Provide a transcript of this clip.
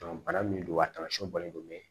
bana min don a tamasiyɛnw bɔlen don mɛ